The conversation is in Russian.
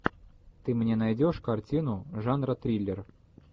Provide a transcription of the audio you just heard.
ты мне найдешь картину жанра триллер